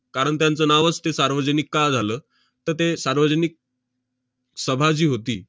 कारण त्यांचं नावच ते सार्वजनिक का झालं? तर ते सार्वजनिक सभा जी होती,